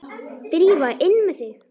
Drífa, inn með þig!